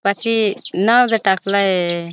पाछी नाव ज टाकलाय.